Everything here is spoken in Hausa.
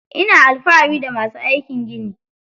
Ina alfahari da masu aikin gini.